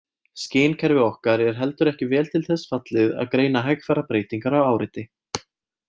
Skynkerfi okkar er heldur ekki vel til þess fallið að greina hægfara breytingar á áreiti.